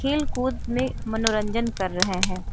खेलकूद में मनोरंजन कर रहे हैं।